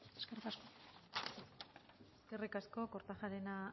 eskerrik asko eskerrik asko kortajarena